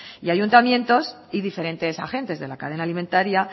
y ayuntamientos y diferentes agentes de la cadena alimentaria